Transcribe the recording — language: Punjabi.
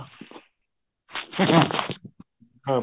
ਹਾਂ